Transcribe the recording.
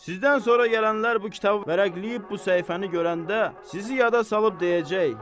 Sizdən sonra gələnlər bu kitabı vərəqləyib bu səhifəni görəndə sizi yada salıb deyəcək: